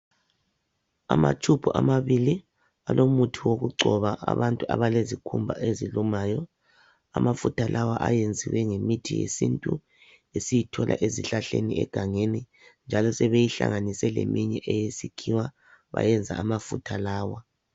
Amatube amabili alomuthi wokungcoba abantu abalezikhumba ezilumayo amafutha lawa ayenziwe ngemith yesintu esiyithola ezihlahleni egangeni njalo sebeyihlanganise leminye eyesikhiwa bayenza amafutha lawa